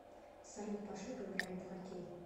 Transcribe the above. салют пошли поиграем в хоккей